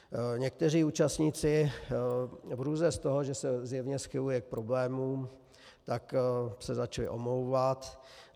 Někteří účastníci v hrůze z toho, že se zjevně schyluje k problémům, tak se začali omlouvat.